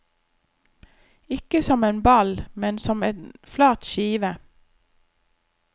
Ikke som en ball, men som en flat skive.